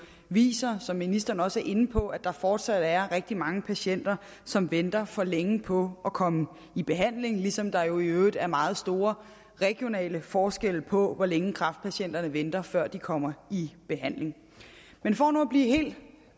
viser som ministeren også er inde på at der fortsat er rigtig mange patienter som venter for længe på at komme i behandling ligesom der jo i øvrigt er meget store regionale forskelle på hvor længe kræftpatienterne venter før de kommer i behandling men for nu at blive helt